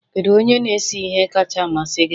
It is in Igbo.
Kedu onye na-ese ihe kacha amasị gị?